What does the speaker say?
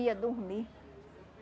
ia dormir.